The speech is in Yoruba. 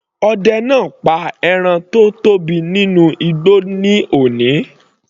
Ọdẹ náà pa ẹran tó tóbi nínú igbó ní òní.